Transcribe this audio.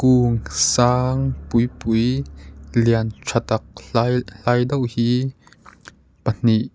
ung sang pui pui lian tha tak hlai hlai deuh hi pahnih--